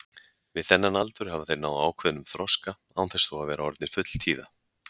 Við þennan aldur hafa þeir náð ákveðnum þroska án þess þó að vera orðnir fulltíða.